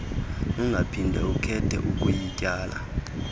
ungaphinda ukhethe ukuyityala